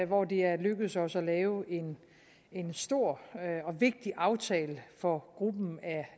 hvor det er lykkedes os at lave en en stor og vigtig aftale for gruppen